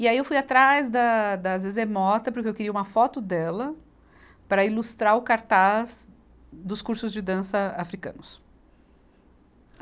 E aí eu fui atrás da, da Zezé Mota, porque eu queria uma foto dela para ilustrar o cartaz dos cursos de dança africanos.